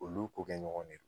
Olu ko kɛ ɲɔgɔn de.